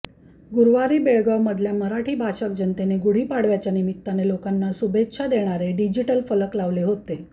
गुरुवारी बेळगावमधल्या मराठी भाषक जनतेने गुढी पाडव्याच्या निमित्ताने लोकांना शुभेच्छा देणारे डिजिटल फलक लावले होते